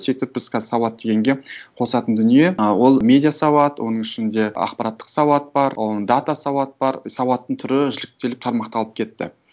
сөйтіп біз қазір сауат дегенге қосатын дүние ы ол медиа сауат оның ішінде ақпараттық сауат бар дата сауат бар сауаттың түрі үзіктеліп тармақталып кетті